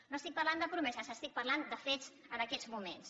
no estic parlant de promeses estic parlant de fets en aquests moments